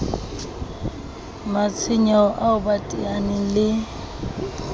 matshwenyeho ao ba teaneng le